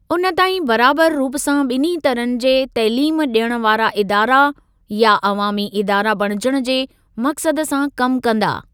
उन ताईं बराबर रूप सां ॿिन्ही तरहनि जी तइलीम ॾियण वारा इदारा या अवामी इदारा बणिजण जे मक़सद सां कम कंदा।